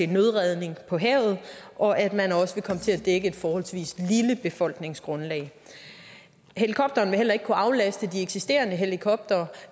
nødredning på havet og at man også vil komme til at dække et forholdsvis lille befolkningsgrundlag helikopteren vil heller ikke kunne aflaste de eksisterende helikoptere